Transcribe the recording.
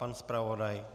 Pan zpravodaj?